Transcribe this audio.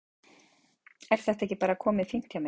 Er þetta ekki bara komið fínt hjá mér?